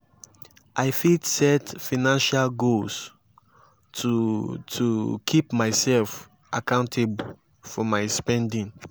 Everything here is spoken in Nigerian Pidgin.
i fit set financial goals to to keep myself accountable for my spending.